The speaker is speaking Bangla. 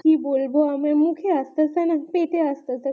কি বলবো আমার মুখে আসিতেছে না পেটে আসতাছে